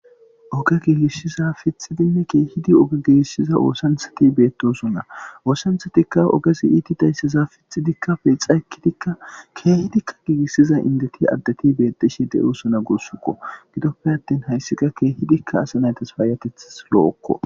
Oge giigissiza piththidi keehi oge giigissiza oosanchchathi beeththoosona; oosanchchathikka ogesi iithida issiza piththidikka peexa ekkidikka keehizikka giigissiza inddethinne addethi beeththishe de7oosona guusakoo; gidoppe aththin haysi qa keehidikka asa na7ithas payyatheththas lo7okkoo.